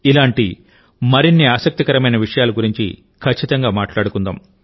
ఇలాంటి మరిన్ని ఆసక్తికరమైన విషయాల గురించి ఖచ్చితంగా మాట్లాడుకుందాం